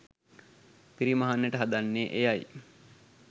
පිරිමහන්නට හදන්නේ එයයි.